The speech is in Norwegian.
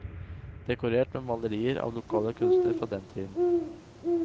Dekorert med malerier av lokale kunstnere fra den tiden.